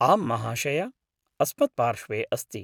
आम्, महाशय! अस्मत्पार्श्वे अस्ति।